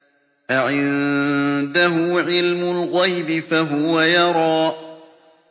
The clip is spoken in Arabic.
أَعِندَهُ عِلْمُ الْغَيْبِ فَهُوَ يَرَىٰ